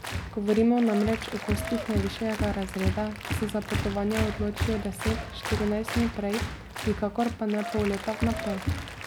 Govorimo namreč o gostih najvišjega razreda, ki se za potovanja odločijo deset, štirinajst dni prej, nikakor pa ne pol leta vnaprej.